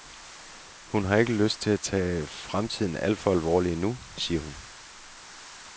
Hun har ikke lyst til at tage fremtiden alt for alvorligt endnu, siger hun.